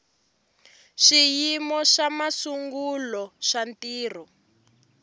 swiyimo swa masungulo swa ntirho